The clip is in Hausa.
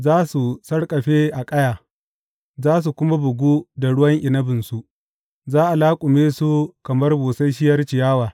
Za su sarƙafe a ƙaya, za su kuma bugu da ruwan inabinsu; za a laƙume su kamar busasshiyar ciyawa.